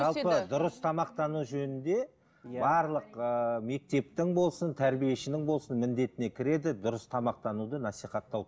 жалпы дұрыс тамақтану жөнінде барлық ыыы мектептің болсын тәрбиешінің болсын міндетіне кіреді дұрыс тамақтануды насихаттау